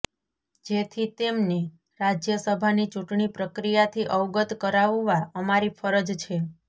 જેથી તેમને રાજ્યસભાની ચૂંટણી પ્રક્રિયાથી અવગત કરાવવા અમારી ફરજ છે